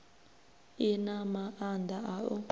i na maanda a u